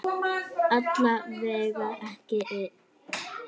Alla vega ekki enn.